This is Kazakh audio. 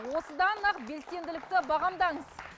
осыдан ақ белсенділікті бағамдаңыз